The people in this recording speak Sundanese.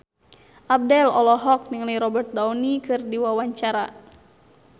Abdel olohok ningali Robert Downey keur diwawancara